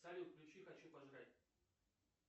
салют включи хочу пожрать